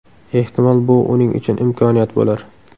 Ehtimol, bu uning uchun imkoniyat bo‘lar.